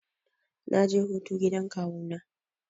Na je hutu gidan kawu na.